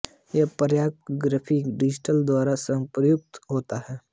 यह प्रायः graphics designers द्वारा प्रयुक्त होता है